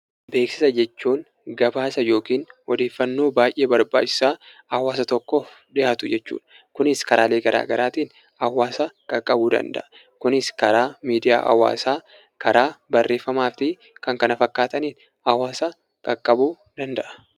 Beeksisa jechuun gabaasa yookaan odeeffannoo baayyee barbaachisaa hawaasa tokkoof dhihaatu jechuudha. Kunis karaalee garaagaraatiin hawaasa qaqqabuu danda'a. Kunis karaa miidiyaa hawaasaa karaa barreeffamaa fi kanneen kana fakkaatan qaqqabuu danda'a.